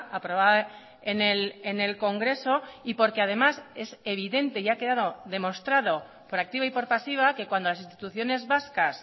aprobada en el congreso y porque además es evidente y ha quedado demostrado por activa y por pasiva que cuando las instituciones vascas